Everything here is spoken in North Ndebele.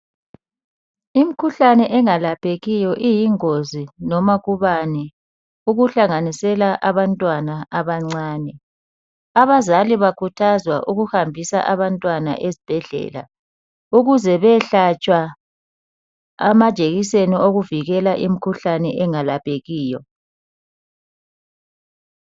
Imikhuhlane engalaphekiyo iyingozi noma kubani, okuhlanganisela abantwana abancane Abazali bakhuthazwa ukuhambisa abantwana esibhedlela, ukuze behlatshwa amahekiseni okuvikela imikhuhlane engalaphekiyo.